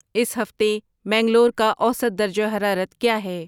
اس ہفتے منگلور کا اوسط درجہ حرارت کیا ہے